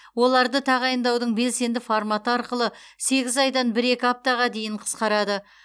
оларды тағайындаудың белсенді форматы арқылы сегіз айдан бір екі аптаға дейін қысқарады